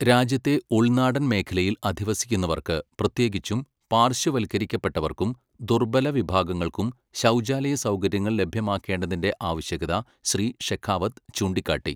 രാജ്യത്തെ ഉൾനാടൻ മേഖലയിൽ അധിവസിക്കുന്നവർക്ക് പ്രത്യേകിച്ചും പാർശ്വവൽക്കരിക്കപ്പെട്ടവർക്കും ദുർബല വിഭാഗങ്ങൾക്കും ശൗചാലയ സൗകര്യങ്ങൾ ലഭ്യമാക്കേണ്ടതിന്റെ ആവശ്യകത ശ്രീ ഷെഖാവത് ചൂണ്ടികാട്ടി.